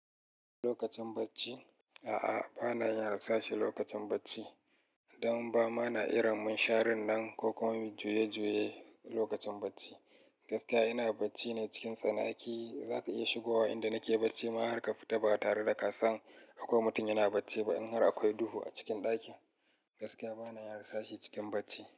Lokacin bacci? A'a, ba na yin rasashi lokacin bacci don ba ma na iran mun sharar nan ko kuma juye-juye lokacin bacci. Gaskiya ina bacci ne cikin tsanaki. Zaka iya shigowa inda nake bacci ma har ka fita ba tare da ka san akwai mutum yana bacci ba in har akwai duhu a cikin ɗakin. Gaskiya ba na yin rasashi cikin bacci.